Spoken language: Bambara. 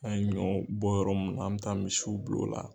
An y ɲɔ bɔ yɔrɔ mun an bɛ taa misiw bul'o la